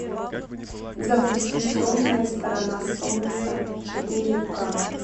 запусти темная сторона солнца четыре к